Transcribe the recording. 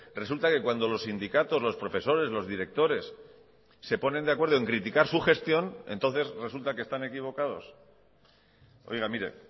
resulta que cuando los sindicatos los profesores los directores se ponen de acuerdo en criticar su gestión entonces resulta que están equivocados oiga mire